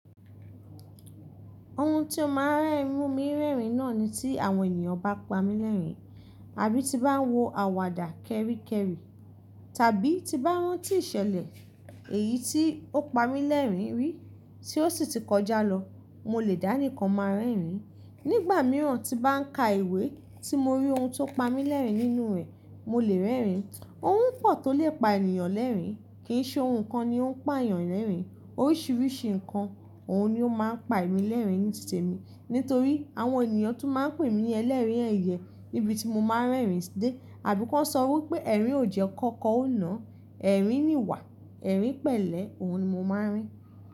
Ohun tí ó máa ń mú mi rẹ́rìn náà ni tí àwọn ènìyàn bá pa mí lẹ́rìn àbí ti bá ń wo àwàdà kẹ́ríkẹ́rí tàbí ti bá rán tí ìṣẹ̀lẹ̀ èyí tí ó pa mí lẹ́rìn rí tí ó sì ti kọjá lọ. Mo lè dání kọ máa rẹ́rìn. Nígbà mìíràn tí bá ń ka ìwé tí mo rí ohun tó pa mí lẹ́rìn nínú rẹ̀, mo lè rẹ́rìn. Ohun pọ̀ tó lè pa ènìyàn lẹ́rìn, kì í ṣe ohun kan ni ó ń pa èèyàn lẹ́rìn. Oríṣiríṣi nǹkan, òhun ni ó máa ń pa èmi lẹ́rìn ní ìdí ìṣe mi. Nítorí àwọn ènìyàn tún máa ń pè mí ní Ẹlẹ́rìn-ín ẹ̀yẹ níbi tí mo máa ń rẹ́rìn dé. Àbí kọ́ ṣọ wí pé ẹ̀rín ò jẹ́ Ọkọ̀ kọ́ ọ́ náà, ẹ̀rín nìwà, ẹ̀rín pẹ̀lẹ́, òhun ni mo máa ń rí.